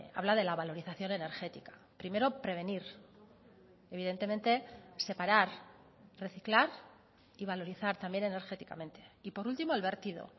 habla de la valorización energética primero prevenir evidentemente separar reciclar y valorizar también energéticamente y por último el vertido